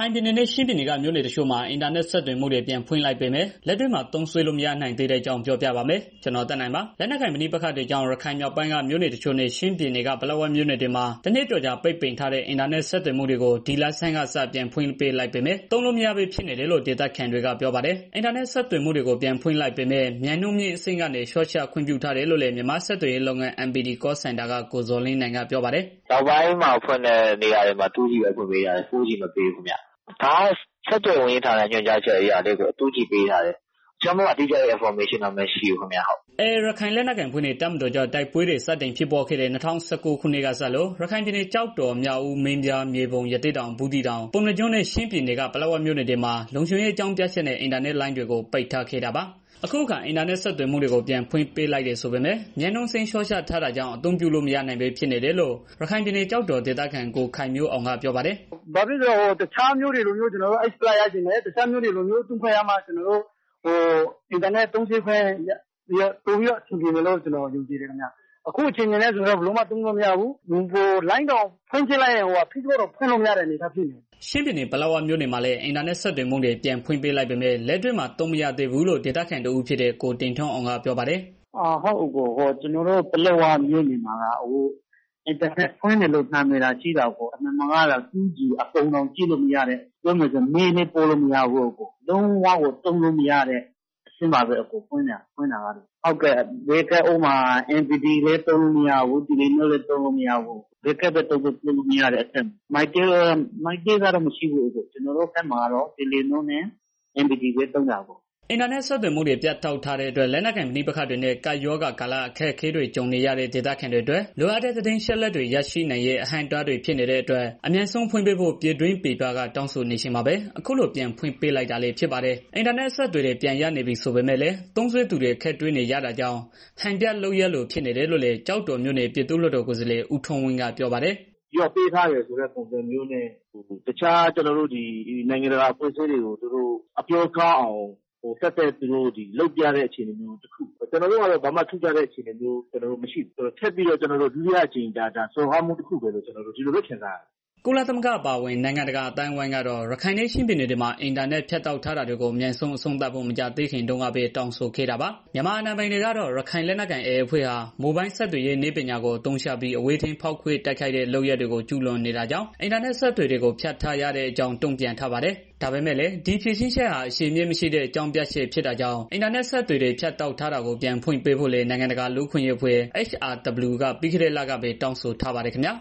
ိုင်ပြည်နယ်နဲ့ ချင်းပြည်နယ်က မြို့နယ်တချို့မှာ အင်တာနက်ဆက်သွယ်မှုတွေ ပြန်ဖွင့် ပေးလိုက်ပေမယ့် လက်တွေ့မှာ သုံးစွဲလို့ မရနိုင်သေးဘဲ ဖြစ်နေတဲ့အကြောင်းကို ဗွီအိုအေမြန်မာပိုင်းသတင်းထောက် ကိုသက်နိုင်က ပြောပြပေးပါမယ်။ လက်နက်ကိုင် ပဋိပက္ခတွေကြောင့် ရခိုင်မြောက်ပိုင်းက မြို့နယ် ရှစ် ခုနဲ့ ချင်းပြည်နယ်က ပလက်ဝမြို့နယ်တွေမှာ တနှစ်ကျော်ကြာ ပိတ်ထားတဲ့ အင်တာနက် ဆက်သွယ်မှုတွေကို ဒီလဆန်းကစ ပြန်ဖွင့်ပေးလိုက်ပေမဲ့ သုံးလို့မရဘဲ ဖြစ်နေတယ်လို့ ဒေသခံတွေက ပြောပါတယ်။ အင်တာနက် ဆက်သွယ်မှုတွေကို ပြန်ဖွင့်ပေးလိုက်ပေမဲ့ မြန်နှုန်းမြင့်အဆင့်ကနေ လျှော့ချခွင့်ပြုထားတယ်လို့လည်း မြန်မာ့ဆက်သွယ်ရေးလုပ်ငန်း MPT Call Center က ကိုဇော်လင်းနိုင်က ပြောပါတယ်။ "အခုနောက်ပိုင်းမှ ဖွင့်တဲ့နေရာတွေမှာ 2G ပဲ ပေးထားတယ်၊ 4G မပေးဘူးခင်ဗျာ။ ဒါကတော့ ဆက်သွယ်ရေး ညွှန်ကြားမှု ဦးစီးဌာရဲ့ ညွှန်ကြားအရ 2G ပေးထားတယ်။ တခြားတိကျ အင်ဖော်မေးရှင်းတော့ မရှိဘူးခင်ဗျာ။" AA ရခိုင်လက်နက်ကိုင်အဖွဲ့နဲ့ တပ်မတော်ကြား တိုက်ပွဲတွေ စတင်ဖြစ်ပွားခဲ့တဲ့ ၂၀၁၉ ခုနှစ်ကစလို့ ရခိုင်ပြည်နယ် ကျောက်တော်၊ မြောက်ဦး၊ မင်းပြား၊ မြေပုံ၊ ရသေ့တောင်၊ ဘူးသီးတောင်၊ ပုဏ္ဏားကျွန်းနဲ့ ချင်းပြည်နယ်က ပလက်ဝမြို့နယ်တွေမှာ လုံခြုံရေး အကြောင်းပြချက်နဲ့ အင်တာနက်လိုင်းတွေကို ပိတ်ထားခဲ့တာပါ။ အခုအခါ အင်တာနက်ဆက်သွယ်မှုတွေ ပြန်ဖွင့်ပေးလိုက်တယ် ဆိုပေမဲ့ မြန်နှုန်းအဆင့်လျှော့ချထားတာကြောင့် အသုံးပြုလို့ မရနိုင်ဘဲ ဖြစ်နေတယ်လို့ ရခိုင်ပြည်နယ် ကျောက်တော်ဒေသခံ ကိုခိုင်မျိုးအောင်က ပြောပါတယ်။ "တခြားမြို့တွေလိုမျိုး အင်တာနက်သုံးစွဲခွင့် ရချင်တယ်။ ရမှလည်း ကျနော်တို့အဆင်ပြောမှာဖြစ်တယ်။ အခုအနေအထားအဆင်မပြေဘူး ဖွင်ထားတယ်ဆိုပေမဲ့ ကျနော်တို့ ဖွင့်ကြည့်လိုက်ရင် FACEBOOK တောင် သုံးလို့မရဘူး အဝိုင်းလယ်နေတယ်။" ချင်းပြည်နယ် ပလက်ဝမြို့နယ်မှာလည်း အင်တာနက် ဆက်သွယ်မှုတွေ ပြန်ဖွင့်ပေးလိုက်ပေမဲ့ လက်တွေ့မှာ သုံးလို့ မရသေးဘူးလို့ ဒေသခံတဦးဖြစ်တဲ့ ကိုတင်ထွန်းအောင်က ပြောပါတယ်။ "ကျနော်တို့ ပလက်ဝမြို့နယ်မှာက အင်တာနက် ဖွင့်တယ်လို့ နာမည်သာ ရှိတာအကို... 2G ပုံတွေတောင် ကြည့်လို့မရဘူး။ ပြောမယ်ဆိုရင် mail လည်း ပို့လို့မရဘူး။ လုံးဝကို သုံးလို့မရတဲ့ အဆင့်ပါပဲ အကို။ mpt လည်း သုံးလို့မရဘူး telenor လည်း သုံးလို့ မရဘူး။ ဘယ်ကဒ်ပဲ သုံးသုံး၊ သုံးလို့မရတဲ့ အနေအထားပေါ့နော်။ ကျနော်တို့ဘက်မှာက telenor နဲ့ MPT နှစ်မျိုးပဲ သုံးလို့ရတာလေ။" အင်တာနက် ဆက်သွယ်မှုတွေ ဖြတ်တောက်ထားတဲ့အတွက် လက်နက်ကိုင် ပဋိပက္ခတွေနဲ့ ကပ်ရောဂါကာလ အခက်အခဲတွေ ကြုံနေရတဲ့ ဒေသခံတွေအတွက် လိုအပ်တဲ့ သတင်းအချက်အလက်တွေ ရရှိနိုင်ရေး အဟန့်အတားတွေ ဖြစ်နေရတဲ့အတွက် အမြန်ဆုံး ပြန်ဖွင့်ပေးဖို့ ပြည်တွင်းပြည်ပက တောင်းဆိုနေချိန်မှာပဲ အခုလို ပြန်ဖွင့်ပေးလိုက်တာလည်း ဖြစ်ပါတယ်။ အင်တာနက် အဆက်အသွယ်တွေ ပြန်ရနေပြီ ဆိုပေမဲ့ သုံးစွဲသူတွေ အခက်တွေ့နေရတာကြောင့် ဟန်ပြလုပ်ရပ်လို ဖြစ်နေတယ်လို့လည်း ကျောက်တော်မြို့နယ် ပြည်သူ့လွှတ်တော် ကိုယ်စားလှယ် ဦးထွန်းဝင်းက ပြောပါတယ်။ "ရော့ပေးထားတယ် ဆိုတဲ့ပုံစံမျိုးနဲ့ တခြားနိုင်ငံတကာအဖွဲ့စည်းတွေကို အပြောကောင်းအောင် ဒါသက်သက်ပြတဲ့ အခြေအနေတစ်ခု ကျနော်တို့ကတော့ ဘာမှ ထူးခြားလာတာ မရှိဘူး။ ဒါထပ်ပြီးတော့ ဒုတိယတစ်ကြိမ် စော်ကားခံရမှုလို့ပဲ ကျနော်တို့ ခံစားရတယ်။" ကုလသမဂ္ဂ အပါအဝင် နိုင်ငံတကာ အသိုင်းအဝန်းကတော့ ရခိုင်နဲ့ ချင်းပြည်နယ်တွေမှာ အင်တာနက် ဖြတ်တောက်ထားတာတွေကို အမြန်ဆုံး အဆုံးသတ်ဖို့ မကြာသေးခင်တုန်းကပဲ တောင်းဆိုခဲ့တာပါ။ မြန်မာအာဏာပိုင်တွေကတော့ AA ရခိုင်လက်နက်ကိုင်အဖွဲ့ဟာ မိုဘိုင်းဆက်သွယ်ရေး နည်းပညာကို အသုံးချပြီး အဝေးထိန်းဖောက်ခွဲ တိုက်ခိုက်တဲ့ လုပ်ရပ်တွေကို ကျုးလွန်နေတာကြောင့် အင်တာနက် အဆက်အသွယ်တွေကို ဖြတ်တောက်ထားရတဲ့အကြောင်း တုံ့ပြန်ထားပါတယ်။ ဒါပေမဲ့လည်း ဒီဖြေရှင်းချက်ဟာ အခြေအမြစ်မရှိတဲ့ အကြောင်းပြချက် ဖြစ်တာကြောင့် အင်တာနက်အဆက်အသွယ်တွေ ဖြတ်တောက်ထားတာကို ပြန်ဖွင့်ပေးဖို့လည်း နိုင်ငံတကာ လူ့အခွင့်အရေးအဖွဲ့ HRW က ပြီးခဲ့တဲ့လကပဲ တောင်းဆိုထားပါတယ်ခင်ဗျာ